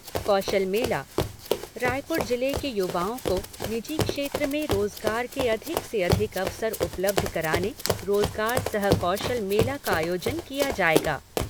कौशल मेला रायपुर जिले के युवाओं को निजी क्षेत्र में रोजगार के अधिक से अधिक अवसर उपलब्ध कराने रोजगार सह कौशल मेला का आयोजन किया जाएगा।